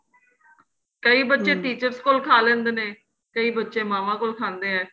ਕਈ ਬੱਚੇ teachers ਕੋਲ ਖਾਹ ਲੈਂਦੇ ਨੇ ਕਈ ਬੱਚੇ ਮਾਵਾਂ ਕੋਲ ਖਾਂਦੇ ਏ